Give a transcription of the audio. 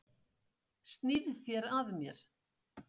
Snýrð þér að mér.